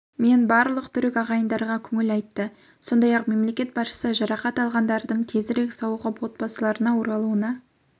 мен барлық түрік ағайындарға көңіл айтты сондай-ақ мемлекет басшысы жарақат алғандардың тезірек сауығып отбасыларына оралуына